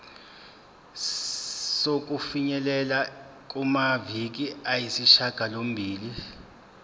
sokufinyelela kumaviki ayisishagalombili